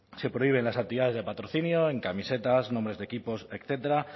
se prohíben las actividades de patrocinio en camisetas nombres de equipos etcétera